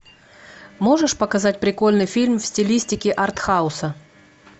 можешь показать прикольный фильм в стилистике артхауса